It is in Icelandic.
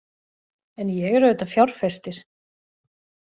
En ég er auðvitað fjárfestir.